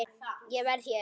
Ég verð hér